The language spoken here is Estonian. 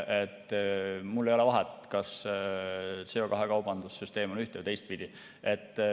Mul ei ole vahet, kas CO2 kaubanduse süsteem on ühte‑ või teistpidi.